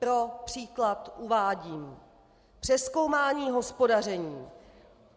Pro příklad uvádím: Přezkoumání hospodaření.